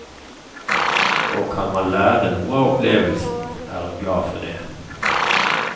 Og kan man lære noe av opplevelsen, er hun glad for det.